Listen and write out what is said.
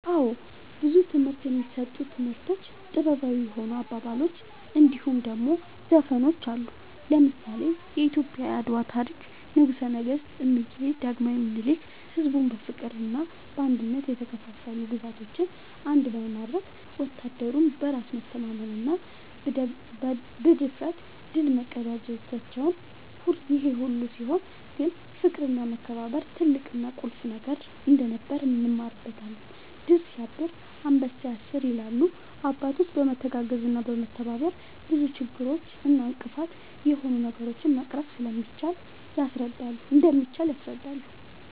አወ ብዙ ትምህርት የሚሰጡ ታሪኮች ጥበባዊ የሆኑ አባባሎች እንድሁም ደሞ ዘፈኖች አሉ። ለምሳሌ :-የኢትዮጵያ የአድዋ ታሪክ ንጉሰ ነገስት እምዬ ዳግማዊ ምኒልክ ሕዝቡን በፍቅርና በአንድነት የተከፋፈሉ ግዛቶችን አንድ በማድረግ ወታደሩም በራስ መተማመንና ብድፍረት ድል መቀዳጀታቸውን ይሄ ሁሉ ሲሆን ግን ፍቅርና መከባበር ትልቅና ቁልፍ ነገር እንደነበር እንማርበታለን # "ድር ስያብር አንበሳ ያስር" ይላሉ አባቶች በመተጋገዝና በመተባበር ብዙ ችግር እና እንቅፋት የሆኑ ነገሮችን መቅረፍ እንደሚቻል ያስረዳሉ